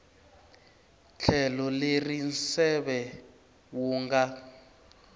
tlhelo leri nseve wu nga